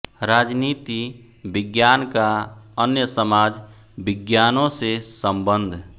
राजनीति विज्ञान का अन्य समाज विज्ञानों से सम्बन्ध